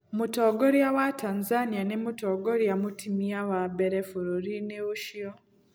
Mũtongoria wa Tanzania nĩ mũtongoria mũtumia wa mbere bũrũri-inĩ ũcio.